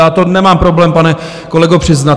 Já to nemám problém, pane kolego, přiznat.